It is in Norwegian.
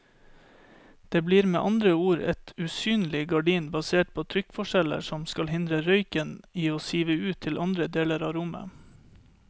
Det blir med andre ord et usynlig gardin basert på trykkforskjeller som skal hindre røyken i å sive ut til andre deler av rommet.